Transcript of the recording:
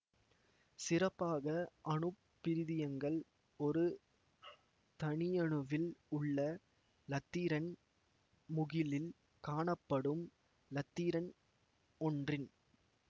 சிறப்பாக அணுப்பிரிதியங்கள் ஒரு தனியணுவில் உள்ள இலத்திரன் முகிலில் காணப்படும் இலத்திரன் ஒன்றின்